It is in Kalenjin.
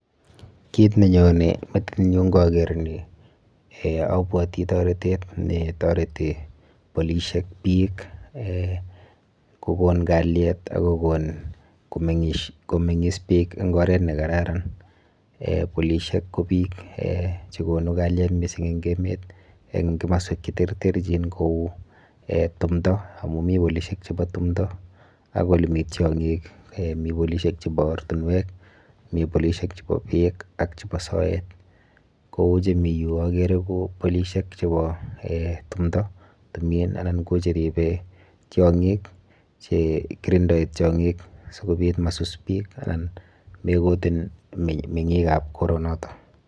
Kiit ne nyone eng metit nyun ngageer ni abwoti toretet ne toreti polisiek biik ko kon kalyet ako kon ko meng'is biik eng oret ne kararan. Polisiek ko biik che konu kalyet mising eng emet, eng komoswek che terterchin kou timdo amu mi polisiek chepo timdo ak ole mi tyong'ik. Mi polisiek chebo ortinwek, mi polisiek chebo peek ak chebo soet. Kou chemi yu agere ko polisiek chebo timdo, timin anan koche ribe tyong'ik, che kirindoi tyong'ik sikobit ma sus biik anan mekotum meng'ikab koronoto.